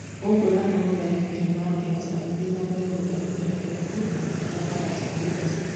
Gũkũ nake mũtharĩkĩri Mathias agĩthiĩ na mbere gũthakĩra kĩrabu kĩa Faranja Tours.